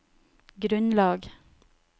grunnlag